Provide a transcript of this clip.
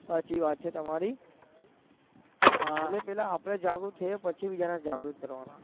સાચી વાત છે તમારી અને પેહલા આપડે જાગૃત થયાં પછી બીજા ને જાગૃત કરવાના